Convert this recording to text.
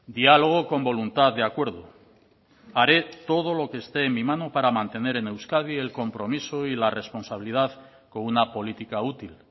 diálogo con voluntad de acuerdo haré todo lo que esté en mi mano para mantener en euskadi el compromiso y la responsabilidad con una política útil